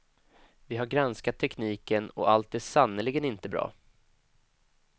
Vi har granskat tekniken och allt är sannerligen inte bra.